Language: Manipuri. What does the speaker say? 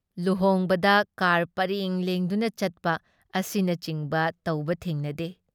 ꯂꯨꯍꯣꯡꯕꯗ ꯀꯥꯔ ꯄꯔꯦꯡ ꯂꯦꯡꯗꯨꯅ ꯆꯠꯄ ꯑꯁꯤꯅꯆꯤꯡꯕ ꯇꯧꯕ ꯊꯦꯡꯅꯗꯦ ꯫